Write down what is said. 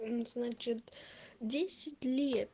значит десять лет